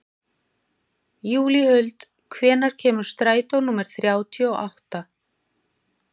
Júlíhuld, hvenær kemur strætó númer þrjátíu og átta?